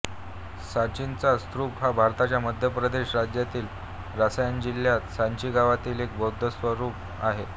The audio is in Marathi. सांचीचा स्तूप हा भारताच्या मध्य प्रदेश राज्यातील रायसेन जिल्ह्यातील सांची गावातील एक बौद्ध स्तूप आहे